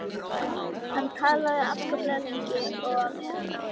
Hann talaði afskaplega lengi og á meðan náði